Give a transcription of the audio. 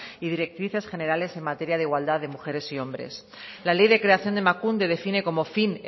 y directrices generales en materia de igualdad de mujeres y hombres la ley de creación de emakunde define como fin